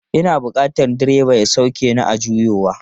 Ina bukatan direba ya sauke ni a juyowa.